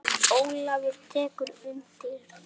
Ólafur tekur undir það.